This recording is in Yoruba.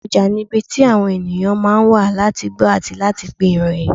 Àárín ọjà ni ibi tí àwọn ènìyàn ma ń wá láti gbọ́ àti láti pín ìròyìn.